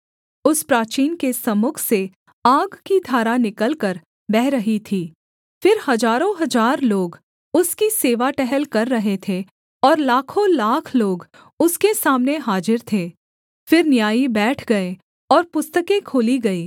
उस प्राचीन के सम्मुख से आग की धारा निकलकर बह रही थी फिर हजारों हजार लोग उसकी सेवा टहल कर रहे थे और लाखोंलाख लोग उसके सामने हाजिर थे फिर न्यायी बैठ गए और पुस्तकें खोली गईं